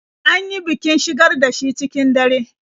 An yi bikin shigar da shi cikin dare.